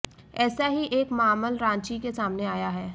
ऐसा ही एक मामल रांची में सामने आया है